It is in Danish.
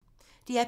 DR P3